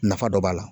Nafa dɔ b'a la